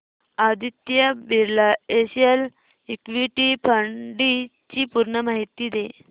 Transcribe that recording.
Aditya Birla SL equity fund D ची पूर्ण माहिती दे